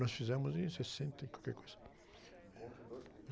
Nós fizemos em sessenta e qualquer coisa.ncontro dos Rei...